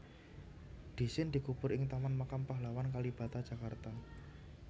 Dhisin dikubur ing Taman Makam Pahlawan Kalibata Jakarta